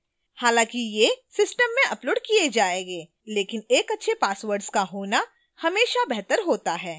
हालांकि ये system में uploaded किए जाएंगे लेकिन एक अच्छे passwords का होना हमेशा बेहतर होता है